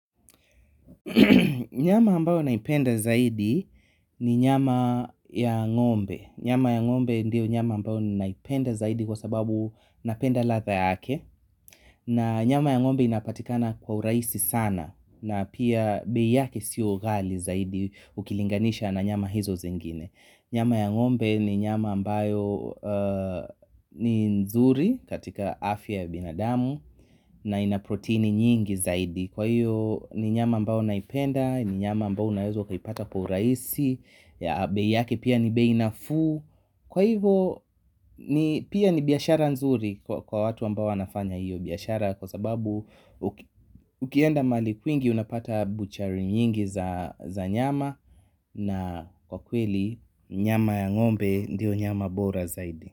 Nyama ambayo naipenda zaidi ni nyama ya ngombe nyama ya ngombe ndiyo nyama ambayo naipenda zaidi kwa sababu napenda ladha yake na nyama ya ngombe inapatikana kwa urahisi sana na pia bei yake sio ghali zaidi ukilinganisha na nyama hizo zingine nyama ya ngombe ni nyama ambayo ni nzuri katika afya ya binadamu na ina protini nyingi zaidi kwa hiyo ni nyama ambao naipenda, ni nyama ambao unaeza ukaipata kwa urahisi bei yake pia ni bei nafuu kwa hivo pia ni biashara nzuri kwa watu ambao wanafanya hiyo biashara kwa sababu ukienda mahali kwingi unapata butchery nyingi za nyama na kwa kweli nyama ya ngombe ndiyo nyama bora zaidi.